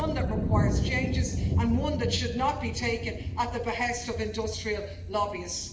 It's one that requires changes and one that should not be taken at the behest of industrial lobbyists.